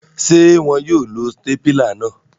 Ṣe wọn yóò lo awọn stapila náà?